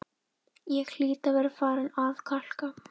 Ég hlýt að vera farin að kalka,